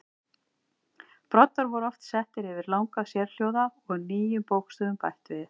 Broddar voru oft settir yfir langa sérhljóða og nýjum bókstöfum bætt við.